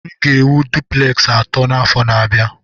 M ga-ewu dupleksi atọ n'afọ na-abịa.